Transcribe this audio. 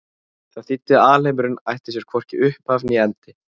Það þýddi að alheimurinn ætti sér hvorki upphaf né endi.